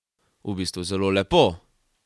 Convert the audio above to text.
V bistvu zelo lepo.